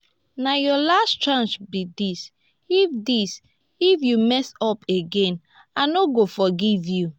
na your last chance be dis if dis if you mess up again i no go forgive you